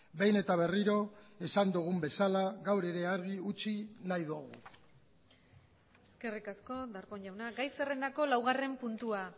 behin eta berriro esan dugun bezala gaur ere argi utzi nahi dugu eskerrik asko darpón jauna gai zerrendako laugarren puntua